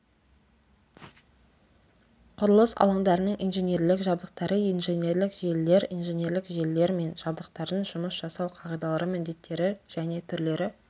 құрылыс алаңдарының инженерлік жабдықтары инженерлік желілер инженерлік желілер мен жабдықтардың жұмыс жасау қағидалары міндеттері және түрлері